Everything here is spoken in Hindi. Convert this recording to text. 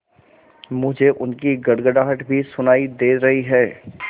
मुझे उनकी गड़गड़ाहट भी सुनाई दे रही है